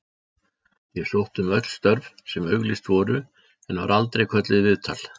Ég sótti um öll störf sem auglýst voru en var aldrei kölluð í viðtal.